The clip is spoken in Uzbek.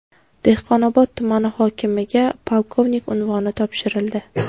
Dehqonobod tumani hokimiga polkovnik unvoni topshirildi.